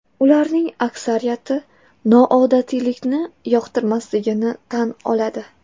Ularning aksariyati noodatiylikni yoqtirmasligini tan oladi.